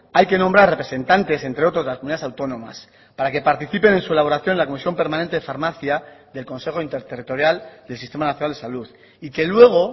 hay que nombrar representantes entre otros de las comunidades autónomas para que participen en su elaboración la comisión permanente de farmacia del consejo interterritorial del sistema nacional de salud y que luego